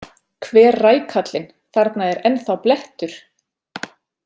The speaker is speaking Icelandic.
Hver rækallinn, þarna er ennþá blettur!